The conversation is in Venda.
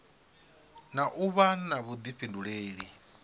na u vha na vhuḓifhinduleli